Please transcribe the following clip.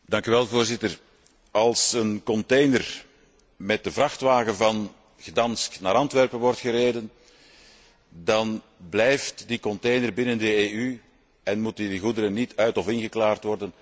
Voorzitter, als een container met de vrachtwagen van Gdansk naar Antwerpen wordt gereden, dan blijft die container binnen de EU en moeten die goederen niet uit of ingeklaard worden.